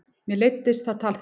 Mér leiddist það tal þeirra.